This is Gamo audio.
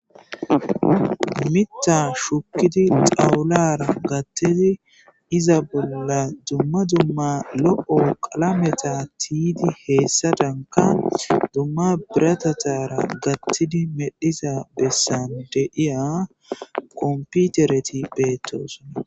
Mitha shukidi xalara gathidi izza bolla duma duma qalameta gathidi tiyidi hesadanka duma biratatara medhiya besan de'iya konppitereti betes